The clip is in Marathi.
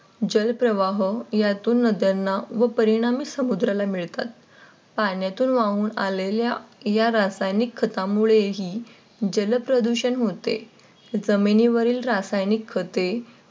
जलप्रवाह यातून नद्यांना व परिणामी समुद्राला मिळतात. पाण्यातून वाहून आलेल्या या रासायनिक खतामुळे ही जलप्रदूषण होते जमिनीवरील रासायनिक खते